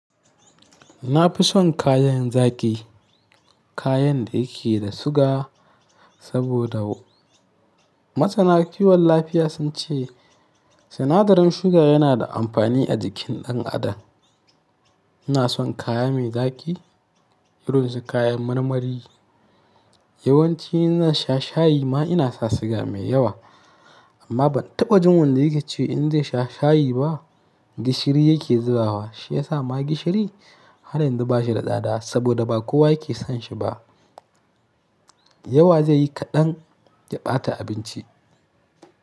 Na fi son kayan zaƙi, kayan da yake da suga saboda masana kiwon lafiya sun ce sinadarin sugar yana da amfani a jikin ɗan adam. Ina son kaya mai zaƙi, irin su kayan marmari. Yawanci ina sha shayi ma ina sa sugar mai yawa amma ban taɓa jin wanda yake ce in ze sha shayi ba. Gishiri yake zubawa shi ya sa ma gishiri har yanzu ba shi da tsada saboda ba kowa yake son shi ba. Yawa zai yi kaɗan ya ɓata abinci.